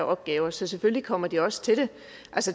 opgaver så selvfølgelig kommer de også til det